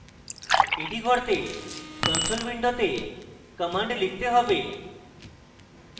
এটি করতে আমাদের console window commands লিখতে have